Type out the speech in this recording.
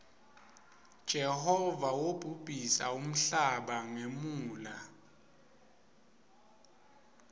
jehova wobhubhisa nmhlaba ngemuula